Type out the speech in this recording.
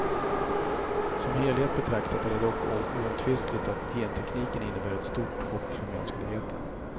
Som helhet betraktat är det dock oomtvistligt att gentekniken innebär ett stort hopp för mänskligheten.